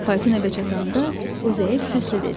Fayton evə çatanda o zəif səslə dedi.